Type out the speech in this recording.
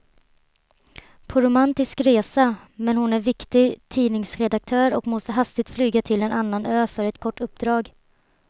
På romantisk resa, men hon är viktig tidningsredaktör och måste hastigt flyga till en annan ö för ett kort uppdrag.